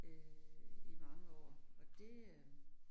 Øh i mange år, og det øh